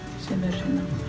sem eru